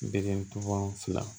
Bere tɔgɔ fila